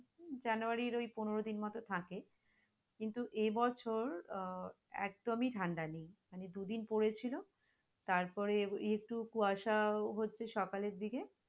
january এই পনেরো দিন মতো থাকে কিন্তু এই বছর, আহ একদমই ঠাণ্ডা নেই মানে দুদিন পরেছিল তারপরে একটু কুয়াশা হচ্ছে সকালের দিকে।